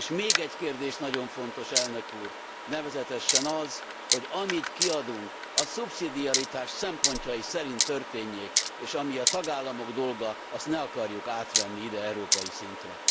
És még egy kérdés nagyon fontos Elnök úr! Nevezetesen az, hogy amit kiadunk, a szubszidiaritás szempontjai szerint történjék, és ami a tagállamok dolga, azt ne akarjuk átvenni ide, európai szintre.